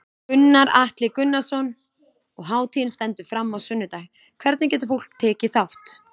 Gunnar Atli Gunnarsson: Og hátíðin stendur fram á sunnudag, hvernig getur fólk tekið þátt?